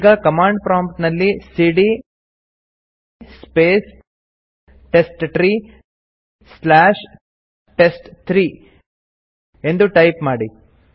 ಈಗ command prompt ನಲ್ಲಿ ಸಿಡಿಯ ಸ್ಪೇಸ್ ಟೆಸ್ಟ್ಟ್ರೀ ಸ್ಲಾಶ್ ಟೆಸ್ಟ್3 ಎಂದು ಟೈಪ್ ಮಾಡಿ